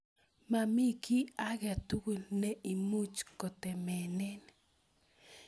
Mami kiy ake tukul ne imuch kotemenen